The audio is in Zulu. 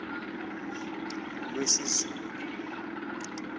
lwesizulu